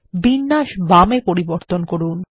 বিন্যাস বাম এ পরিবর্তন করুন